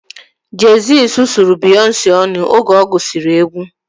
Jey-Z sụsụrụ Beyonce ọnụ oge ọ gụsiri egwu